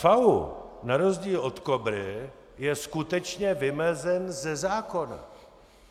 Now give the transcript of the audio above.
FAÚ na rozdíl od KOBRY je skutečně vymezen ze zákona.